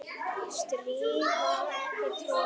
strý var ekki troðið